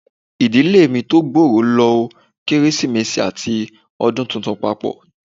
Ìdílé mi tó gbòòrò lo Kérésìmesì àti Ọdún Tuntun papọ.